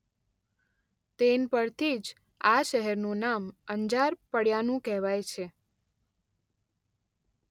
તેન પરથી જ આ શહેરનું નામ અંજાર પડ્યાંનું કહેવાય છે.